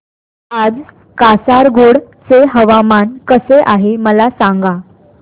आज कासारगोड चे हवामान कसे आहे मला सांगा